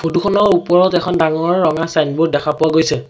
Photo খনৰ ওপৰত এখন ডাঙৰ ৰঙা ছাইনবোৰ্ড দেখা পোৱা গৈছে।